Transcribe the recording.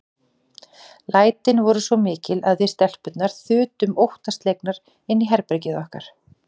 Lætin voru svo mikil að við stelpurnar þutum óttaslegnar inn í herbergið okkar.